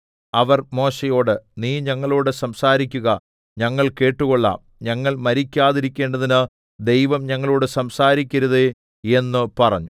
അവർ മോശെയോട് നീ ഞങ്ങളോടു സംസാരിക്കുക ഞങ്ങൾ കേട്ടുകൊള്ളാം ഞങ്ങൾ മരിക്കാതിരിക്കേണ്ടതിന് ദൈവം ഞങ്ങളോടു സംസാരിക്കരുതേ എന്നു പറഞ്ഞു